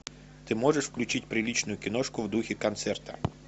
ты можешь включить приличную киношку в духе концерта